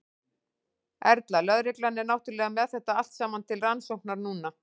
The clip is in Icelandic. Erla: Lögreglan er náttúrulega með þetta allt saman til rannsóknar núna?